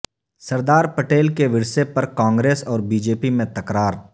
سردار پٹیل کے ورثہ پر کانگریس اور بی جے پی میں تکرار